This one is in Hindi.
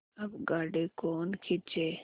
अब गाड़ी कौन खींचे